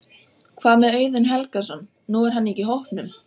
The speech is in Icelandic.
Hvað með Auðun Helgason, nú er hann ekki í hópnum?